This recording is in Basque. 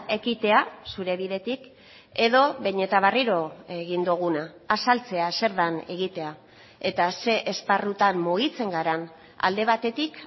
ekitea zure bidetik edo behin eta berriro egin duguna azaltzea zer den egitea eta ze esparrutan mugitzen garen alde batetik